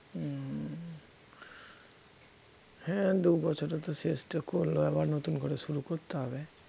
হম হ্যাঁ দুবছরে তো শেষটা করল আবার নতুন করে শুরু করতে হবে